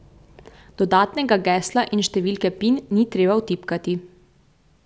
Dodatnega gesla in številke pin ni treba vtipkati.